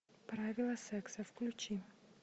правила секса включи